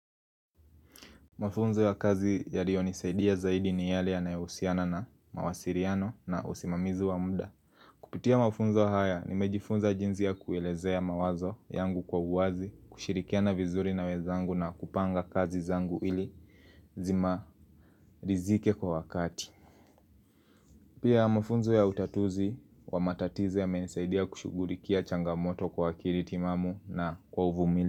Mafunzo ya kazi ya rionisaidia zaidi ni yale ya nayohusiana na mawasiriano na usimamizu wa mda Kupitia mafunzo haya ni mejifunza jinzia kuelezea mawazo yangu kwa uwazi kushirikia na vizuri na wezangu na kupanga kazi zangu ili zima rizike kwa wakati Pia mafunzo ya utatuzi wa matatize ya menisaidia kushugulikia changamoto kwa kiritimamu na kwa uvumili.